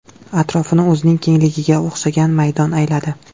Atrofini o‘zining kengligiga o‘xshagan maydon ayladi.